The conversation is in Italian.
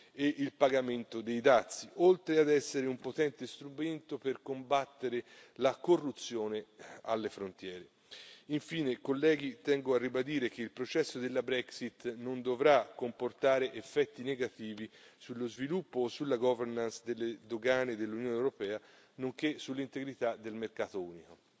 e il pagamento dei dazi, oltre ad essere un potente strumento per combattere la corruzione alle frontiere. Infine, colleghi, tengo a ribadire che il processo della Brexit non dovrà comportare effetti negativi sullo sviluppo o sulla governance delle dogane dell'Unione europea, nonché sull'integrità del mercato unico.